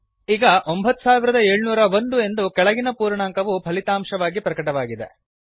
ಈಗ 9701 ಎಂದು ಕೆಳಗಿನ ಪೂರ್ಣಾಂಕವು ಫಲಿತಾಂಶವಾಗಿ ಪ್ರಕಟವಾಗಿದೆ